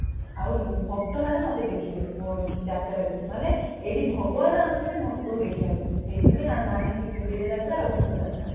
ଆଉ ଭକ୍ତ ମାନେ ମତେ ଦେଖିବେ ମୋ ଯାତ୍ରା ରେମାନେ ଏଇଟି ଭଗବାନ ଆସୁଛନ୍ତି ଭକ୍ତ କୁ ଦେଖିବା ପାଇଁ ସେଇଠି ପାଇଁ ଆର ନା ହେଇଛି ଗୁଣ୍ଡିଚା ଯାତ୍ରା ଆଉ ଘୋସ ଯାତ୍ରା